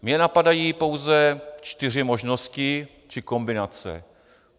Mě napadají pouze čtyři možnosti či kombinace.